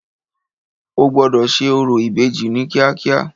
O gbọ́dọ̀ ṣe orò ìbejì ní kíákíá.